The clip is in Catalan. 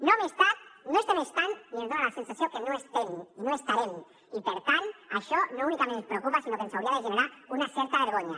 no hi hem estat no hi estem estant i ens dona la sensació que no hi estem i no hi estarem i per tant això no únicament ens preocupa sinó que ens hauria de generar una certa vergonya